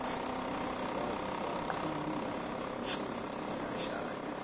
waqhulula ishodi lashaya